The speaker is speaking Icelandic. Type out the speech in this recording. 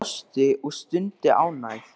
Mamma hans brosti og stundi ánægð.